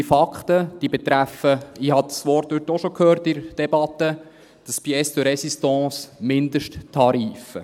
Diese Fakten betreffen – ich habe das Wort heute in der Debatte auch schon gehört – die Pièce de Résistance: die Mindesttarife.